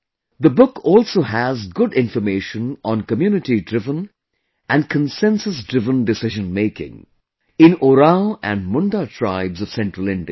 The book also has good information on community driven and consensus driven decision making in Oraon and Munda tribes of central India